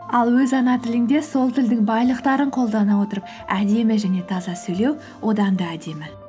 ал өз ана тіліңде сол тілдің байлықтарын қолдана отырып әдемі және таза сөйлеу одан да әдемі